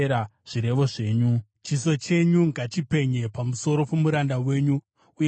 Chiso chenyu ngachipenye pamusoro pomuranda wenyu, uye ndidzidzisei mitemo yenyu.